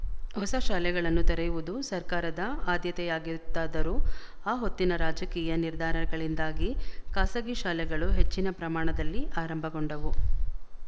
ಹೊಸ ಶಾಲೆಗಳನ್ನು ತೆರೆಯುವುದು ಸರ್ಕಾರದ ಆದ್ಯತೆಯಾಗಿತ್ತಾದರೂ ಆ ಹೊತ್ತಿನ ರಾಜಕೀಯ ನಿರ್ಧಾರಗಳಿಂದಾಗಿ ಖಾಸಗಿ ಶಾಲೆಗಳು ಹೆಚ್ಚಿನ ಪ್ರಮಾಣದಲ್ಲಿ ಆರಂಭಗೊಂಡವು